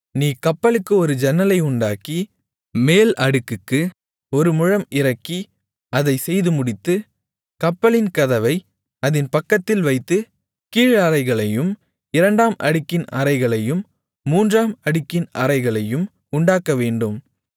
நீ கப்பலுக்கு ஒரு ஜன்னலை உண்டாக்கி மேல் அடுக்குக்கு ஒரு முழம் இறக்கி அதைச் செய்துமுடித்து கப்பலின் கதவை அதின் பக்கத்தில் வைத்து கீழ் அறைகளையும் இரண்டாம் அடுக்கின் அறைகளையும் மூன்றாம் அடுக்கின் அறைகளையும் உண்டாக்கவேண்டும்